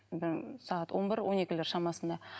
сағат он бір он екілер шамасында